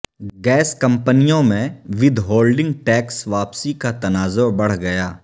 gas کمپنیوں میں withholding tax واپسی کا تنازع بڑھ گیا